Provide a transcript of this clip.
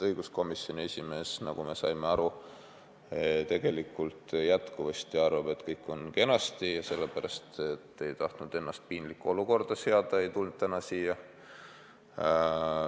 Õiguskomisjoni esimees, nagu me aru saime, jätkuvasti arvab, et kõik on kenasti, ja kuna ta ei tahtnud ennast piinlikku olukorda seada, ei tulnud ta täna siia.